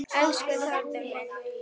Elsku Þórður minn.